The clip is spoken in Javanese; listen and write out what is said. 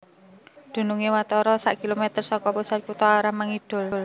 Dunungé watara sak kilometer saka pusat kutha arah mangidul